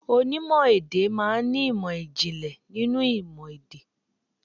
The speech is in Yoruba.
Onímò èdè má a n ní ìmò ìjìnlẹ̀ nínú ìmò èdè.